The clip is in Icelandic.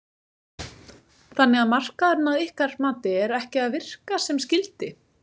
Þannig að markaðurinn að ykkar mati er ekki að virka sem skyldi?